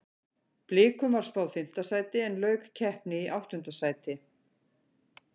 Blikum var spáð fimmta sæti en lauk keppni í áttunda sæti.